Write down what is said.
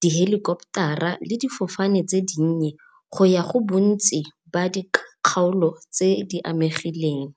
dihelikoptara le difofane tse dinnye go ya go bontsi ba dikgaolo tse di amegileng.